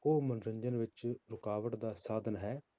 ਉਹ ਮਨੋਰੰਜਨ ਵਿੱਚ ਰੁਕਾਵਟ ਦਾ ਸਾਧਨ ਹੈ?